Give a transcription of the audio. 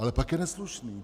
Ale pak je neslušný.